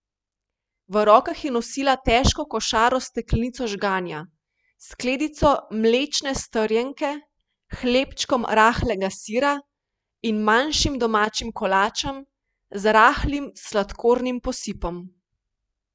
V rokah je nosila težko košaro s steklenico žganja, skledico mlečne strjenke, hlebčkom rahlega sira in manjšim domačim kolačem z rahlim sladkornim posipom.